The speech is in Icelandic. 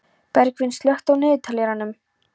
Bergvin, slökktu á niðurteljaranum.